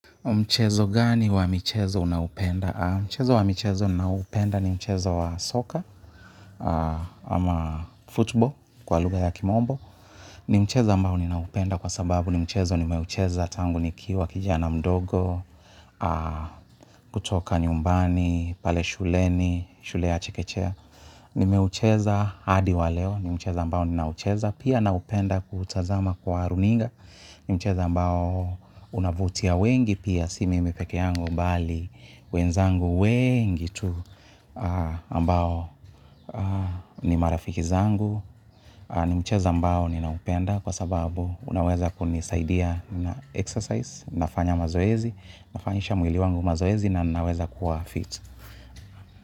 Mchezo gani wa michezo unaupenda? Mchezo wa michezo ninaohupenda ni mchezo wa soccer ama football kwa lugha ya kimombo. Ni mchezo ambao ninaupenda kwa sababu ni mchezo nimeucheza tangu nikiwa kijana mdogo kutoka nyumbani, pale shuleni, shule ya chekechea. Nimeucheza hadi wa leo ni mchezo ambao ninaucheza. Pia nahupenda kuutazama kwa runinga ni mchezo ambao unavutia wengi. Pia si mimi peke yangu bali wenzangu weengi tu ambao ni marafiki zangu ni mcheza ambao ninaupenda kwa sababu unaweza kunisaidia na exercise nafanya mazoezi, nafanyisha mwili wangu mazoezi na naweza kuwa fit.